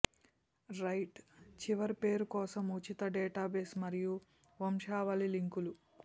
right చివరి పేరు కోసం ఉచిత డేటాబేస్ మరియు వంశావళి లింకులు